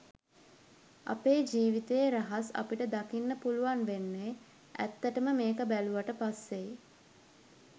අපේ ජීවිතයේ රහස් අපිට දකින්න පුළුවන් වෙන්නෙ ඇත්තටම මේක බැලුවට පස්සෙයි